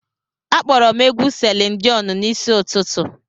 Akpọrọ m egwu Selin Diọn n'isi ụtụtụ.